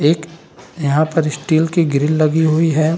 एक यहाँ पर स्टील की ग्रिल लगी हुई है।